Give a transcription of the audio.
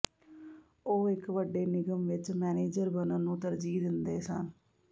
ਉਹ ਇਕ ਵੱਡੇ ਨਿਗਮ ਵਿਚ ਮੈਨੇਜਰ ਬਣਨ ਨੂੰ ਤਰਜੀਹ ਦਿੰਦੇ ਸਨ